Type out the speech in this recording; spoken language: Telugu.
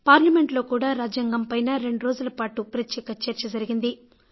పార్లమెంట్లో కూడా రాజ్యాంగం పైన రెండు రోజులపాటు ప్రత్యేక చర్చ జరిగింది